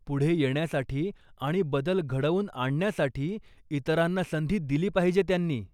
पुढे येण्यासाठी आणि बदल घडवून आणण्यासाठी, इतरांना संधी दिली पाहिजे त्यांनी.